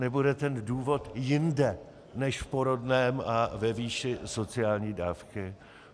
Nebude ten důvod jinde než v porodném a ve výši sociální dávky?